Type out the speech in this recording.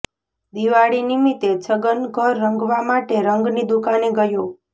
દિવાળી નિમિત્તે છગન ઘર રંગવા માટે રંગની દુકાને ગયો